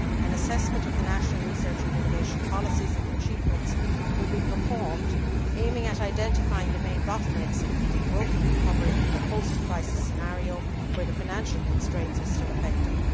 An assessment of the national research and innovation policies and achievements will be performed, aiming at identifying the main bottlenecks impeding growth and recovery in a post crisis scenario where the financial constraints are still effective.